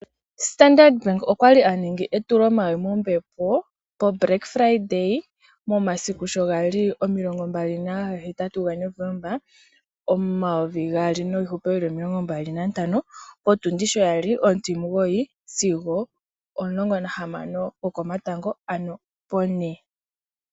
Standard Bank okwali aningi etulomawi mombepo petitano eluudhe, momasiku sho gali omilongo mbali naga hetatu ga Novomba omayovi gaali niihupe yili omilongo mbali nantano, potundi sho yali ontimugoyi sigo ontimulongo nahamano yokomatango ano pone.